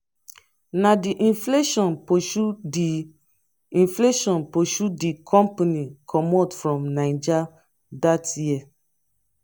na the inflation pursue the inflation pursue the company comot from niga that year